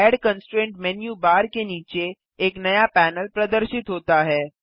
add constraint menu bar के नीचे एक नया पैनल प्रदर्शित होता है